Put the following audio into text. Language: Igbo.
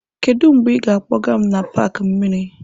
Kedu mgbe ị ga-akpọga m n'paaki mmiri?